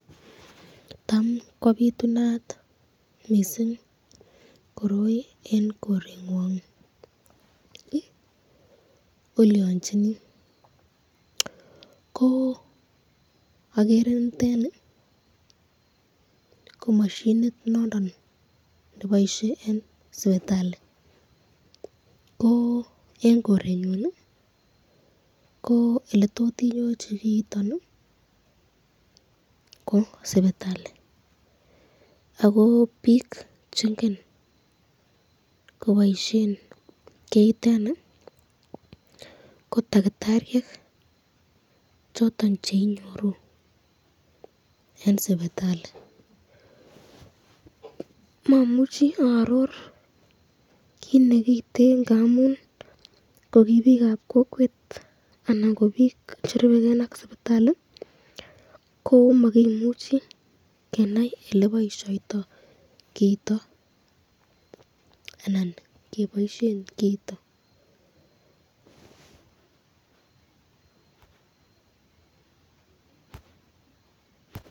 Tam kobitunat mising koroi eng korengwang?? Olyonchini? Ko agere niteni ko mashinit noton neboisye eng sipitali ko eng korenyun ko eletot inyorchi kiiton ii ko sipitali ako pik chengen kobaisyen kiiteni ko takitaryek choton cheinyoru eng sipitali, mamuchi aaror kit nekiite ngamun kokibikab kokwet anan ko bik cherubeken ak sipitali ko makimuchi kenai eleboisyoto kiiton anan keboisyen kiiton .